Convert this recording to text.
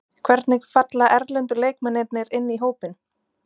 Hvernig falla erlendu leikmennirnir inn í hópinn?